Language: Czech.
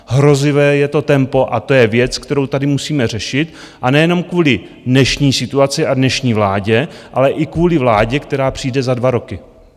Hrozivé je to tempo, a to je věc, kterou tady musíme řešit, a nejenom kvůli dnešní situaci a dnešní vládě, ale i kvůli vládě, která přijde za dva roky.